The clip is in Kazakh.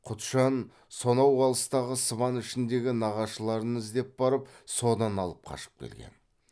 құтжан сонау алыстағы сыбан ішіндегі нағашыларын іздеп барып содан алып қашып келген